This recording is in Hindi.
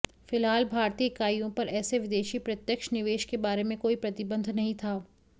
फिलहाल भारतीय इकाइयों पर ऐसे विदेशी प्रत्यक्ष निवेश के बारे में कोई प्रतिबंध नहीं था